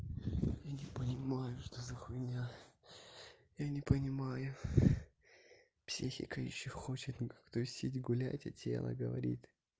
я не понимаю что за хуйня я не понимаю психика ещё хочет ну как тусить гулять а тело говорит